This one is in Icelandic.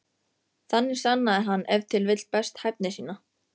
Þannig sannaði hann ef til vill best hæfni sína.